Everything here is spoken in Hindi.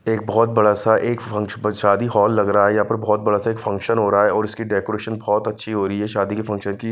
एक बहोत बड़ा सा एक मंच पर शादी हॉल लग रहा है यहां पर बहोत बड़ा सा एक फंक्शन हो रहा है और उसकी डेकोरेशन बहोत अच्छी हो रही है शादी के फंक्शन की--